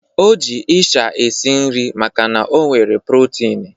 O ji ịsha esi nri makana ọ nwere protini.